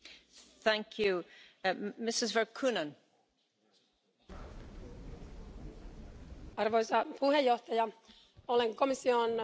Arvoisa puhemies, olen komission puheenjohtajan kanssa samaa mieltä siitä, että Euroopan unionin on vahvistettava omaa globaalia rooliaan.